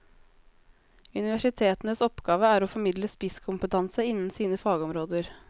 Universitetenes oppgave er å formidle spisskompetanse innen sine fagområder.